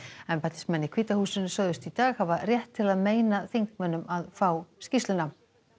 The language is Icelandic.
embættismenn í hvíta húsinu sögðust í dag hafa rétt til að meina þingmönnum að fá skýrsluna